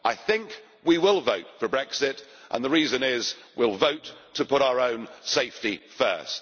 I think we will vote for Brexit, and the reason is we will vote to put our own safety first.